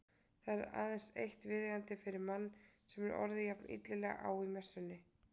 Það er aðeins eitt viðeigandi fyrir mann sem hefur orðið jafn illilega á í messunni.